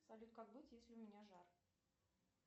салют как быть если у меня жар